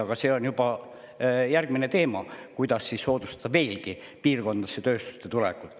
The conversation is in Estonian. Aga see on juba järgmine teema, kuidas soodustada veelgi piirkondadesse tööstuste tulekut.